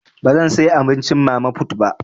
Bazan saya abincin mama put ba.